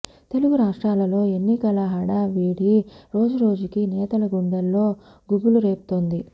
తెలుగు రాష్ట్రాలలో ఎన్నకల హడావిడి రోజు రోజుకి నేతల గుండెల్లో గుబులు రేపుతోంది